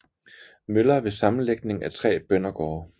Møller ved sammenlægning af tre bøndergårde